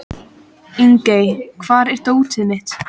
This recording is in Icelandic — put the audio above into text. Ingey, hvar er dótið mitt?